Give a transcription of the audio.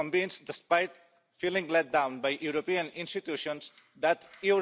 Im März 2017 vorgestellt, haben wir nichts mehr davon